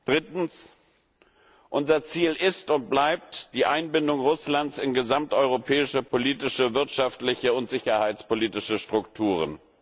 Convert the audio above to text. Drittens Unser Ziel ist und bleibt die Einbindung Russlands in gesamteuropäische politische, wirtschaftliche und sicherheitspolitische Strukturen.